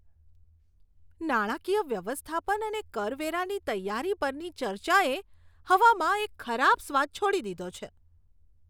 નાણાકીય વ્યવસ્થાપન અને કરવેરાની તૈયારી પરની ચર્ચાએ હવામાં એક ખરાબ સ્વાદ છોડી દીધો છે.